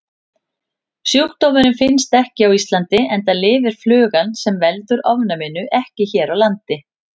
Sjúkdómurinn finnst ekki á Íslandi enda lifir flugan sem veldur ofnæminu ekki hér á landi.